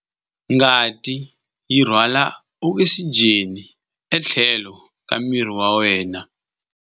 Ngati yi rhwala okisijeni etlhelo ka miri wa wena.